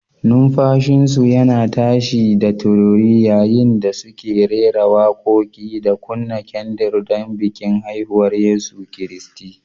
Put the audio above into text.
Numfashinsu yana tashi da tururi yayin da suke rera waƙoƙi da kunna kyandir don bikin haihuwar Yesu Kiristi.